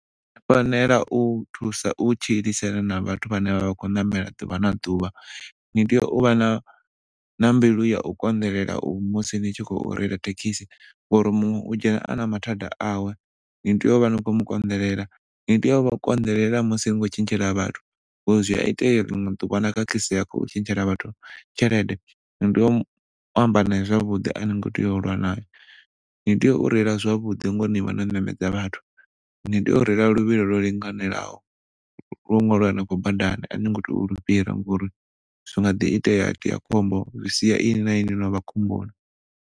U fanela u thusa u tshilisa na vhathu vhane vhavha vha khou ṋamela ḓuvha na ḓuvha. Ni tea u vha na mbilu ya u konḓelela musi ni tshi khou reila thekhikisi ngauri muṅwe u dzhena ana mathada awe ni tea u vha ni khou mu konḓelela, ni tea u vha konḓelela musi ni tshi khou tshetshela vhathu ngauri zwia itea ḽiṅwe ḓuvha na khakhisea ni tshi khou tshitshela vhathu tshelede ni tea u amba nae zwavhuḓi ani ngo tea u lwa nae. Ni tea u rela zwavhuḓi ngauri ni vha no ṋamedza vhathu, ni tea u rela luvhilo low linganelaho wo ṅwaliwa hanefho badani a ni ngo tea u lu fhira ngauri zwinga ḓi tea ha itea khombo zwi sia inwi na inwi no vha khomboni.